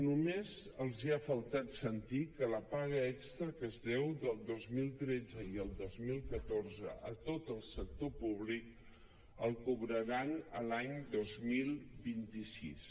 només els ha faltat sentir que la paga extra que es deu del dos mil tretze i el dos mil catorze a tot el sector públic la cobraran l’any dos mil vint sis